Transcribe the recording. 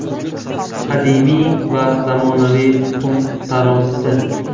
Qadimiy va zamonaviy tuxum tarozisi.